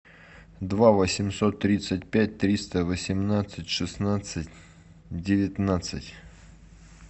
два восемьсот тридцать пять триста восемнадцать шестнадцать девятнадцать